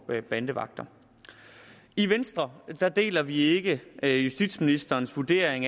bandevagter i venstre deler vi ikke ikke justitsministerens vurdering